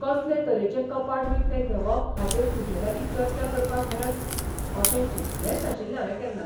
कसले तरेचें कपाट विकतें घेवप हाचेर तुजेलागीं चर्चा करपाक मेळत अशें चिंतलेंच नाशिल्लें हावें केन्ना.